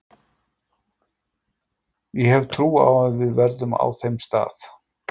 Ég hef trú á að við verðum á þeim stað.